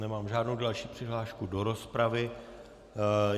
Nemám žádnou další přihlášku do rozpravy.